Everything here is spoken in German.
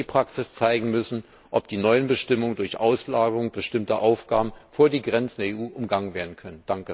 Hier wird die Praxis zeigen müssen, ob die neuen Bestimmungen durch Auslagerung bestimmter Aufgaben vor die Grenzen der EU umgangen werden können.